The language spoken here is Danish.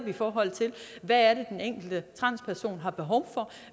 i forhold til hvad den enkelte transperson har behov for